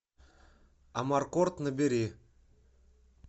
амаркорд набери